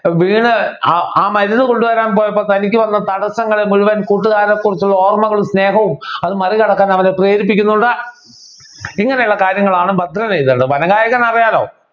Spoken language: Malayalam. വീണു ആ ആ മരുന്ന് കൊണ്ടുവരാൻ പോയപ്പോൾ തനിക്ക് വന്ന തടസ്സങ്ങളെ മുഴുവൻ കൂട്ടുകാരെ കുറിച്ചുള്ള ഓർമ്മകളും സ്നേഹവും അതു മറികടക്കാൻ അവനെ പ്രേരിപ്പിക്കുന്നുണ്ട് ഇങ്ങനെയുള്ള കാര്യങ്ങളാണ് ഭദ്രനെഴുതണ്ടത് വനഗായകൻ അറിയാല്ലോ